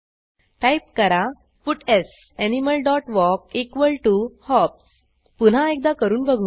type करा puts animal dot walk equal to hops पुन्हा एकदा करून बघू